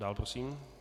Dál prosím.